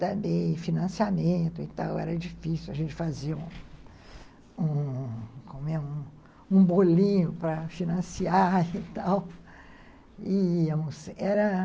também, financiamento e tal, era difícil a gente fazer um um , como é, um bolinho para financiar e tal, era